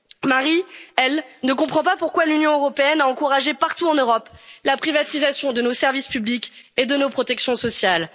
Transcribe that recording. Marie, elle, ne comprend pas pourquoi l'Union européenne a encouragé partout en Europe la privatisation de nos services publics et de nos protections sociales.